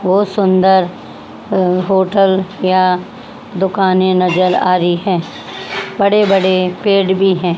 बहोत सुंदर अ होटल या दुकाने नजर आ रही हैं बड़े बड़े पेड़ भी हैं।